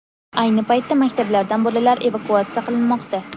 Ayni paytda maktablardan bolalar evakuatsiya qilinmoqda.